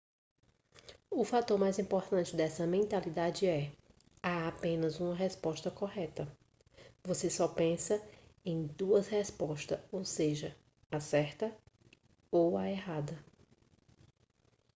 o fator mais importante dessa mentalidade é há apenas uma resposta correta você só pensa em duas respostas ou seja a certa ou a errada